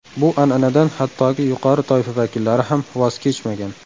Bu an’anadan hattoki yuqori toifa vakillari ham voz kechmagan.